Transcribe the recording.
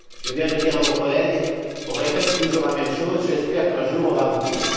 Je viens de dire à mon collègue on répète toujours la même chose, j'espère qu'un jour on va aboutir.